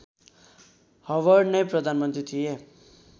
Howard नै प्रधानमन्त्री थिए